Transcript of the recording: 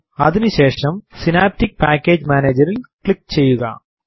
അതിനു ശേഷം synaptic package Manager ൽ ക്ലിക്ക് ചെയ്യുക